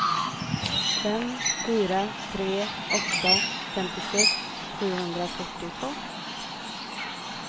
fem fyra tre åtta femtiosex sjuhundrafyrtiotvå